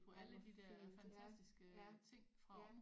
Ej hvor fint ja ja ja